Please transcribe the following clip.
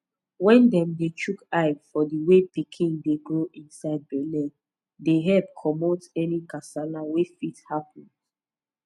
wen dem dey chook eye for the way pikin dey grow inside belle dey epp commot any kasala wey fit happens